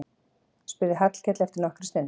spurði Hallkell eftir nokkra stund.